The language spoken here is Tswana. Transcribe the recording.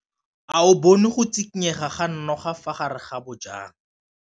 O bone go tshikinya ga noga ka fa gare ga majang.